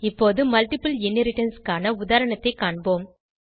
இப்போது multiple inheritance க்கான உதாரணத்தைக் காண்போம்